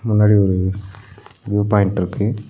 முன்னாடி ஒரு view point இருக்கு.